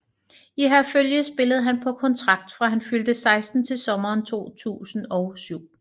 I Herfølge spillede han på kontrakt fra han fyldte 16 til sommeren 2007